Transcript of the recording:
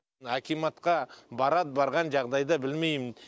мына акиматқа барады барған жағдайды білмейм